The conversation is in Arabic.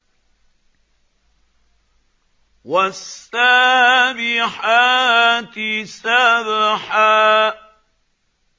وَالسَّابِحَاتِ سَبْحًا